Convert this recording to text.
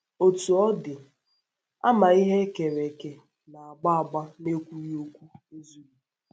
Otú ọ dị, àmà ihe e kere eke na - agba - agba n’ekwughị okwu ezughị.